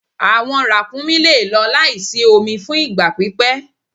Awọn rakúmí le lọ laísí omi fún ìgba pípẹ̀